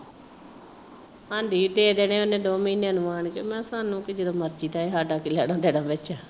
ਹਾਂ ਜੀ ਦੇ ਦੇਣੇ ਨੇ ਉਹਨੇ ਦੋ ਮਹੀਨਾਂ ਨੂੰ ਆਉਣ ਕੇ। ਮੈਂ ਸਾਨੂੰ ਕੀ ਜਦੋਂ ਮਰਜੀ ਦਏ ਸਾਡਾ ਕੀ ਲੈਣਾ ਦੇਣਾ ਵਿੱਚ।